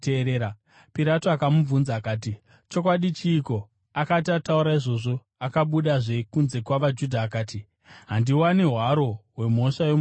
Pirato akamubvunza akati, “Chokwadi chiiko?” Akati ataura izvozvo akabudazve kunze kuvaJudha akati, “Handiwani hwaro hwemhosva yomurume uyu.